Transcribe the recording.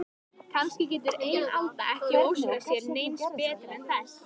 Kannski getur ein alda ekki óskað sér neins betra en þess.